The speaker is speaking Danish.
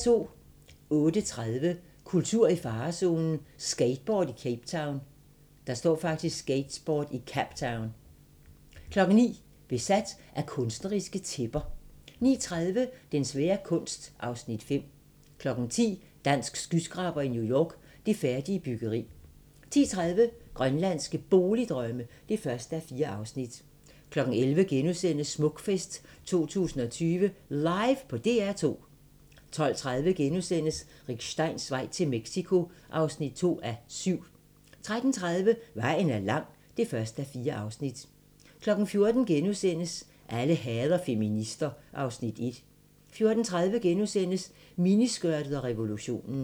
08:30: Kultur i farezonen – Skateboard i Captown 09:00: Besat af kunstneriske tæpper 09:30: Den svære kunst (Afs. 5) 10:00: Dansk skyskraber i New York - Det færdige byggeri 10:30: Grønlandske Boligdrømme (1:4) 11:00: Smukfest 2020 LIVE på DR2 * 12:30: Rick Steins vej til Mexico (2:7)* 13:30: Vejen er lang (1:4) 14:00: Alle hader feminister (Afs. 1)* 14:30: Miniskørtet og revolutionen *